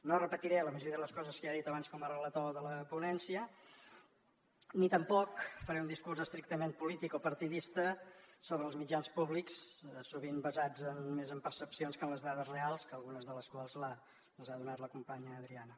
no repetiré la majoria de les coses que ja he dit abans com a relator de la ponència ni tampoc faré un discurs estrictament polític o partidista sobre els mitjans públics sovint basats més en percepcions que en les dades reals que algunes de les quals les ha donades la companya adriana